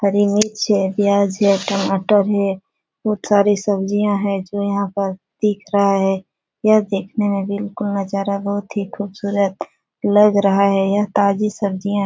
हरी मिर्च है प्याज है टमाटर है बहुत सारी सब्जियाँ है जो यहाँ पर दिख रहा है यह देखने में नजारा बहुत ही खूबसूरत लग रहा है यह ताजी सब्जियां --